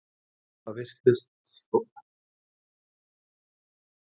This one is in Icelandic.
Það virðist þó vanta að gera meistaraflokkinn að alvöru liði.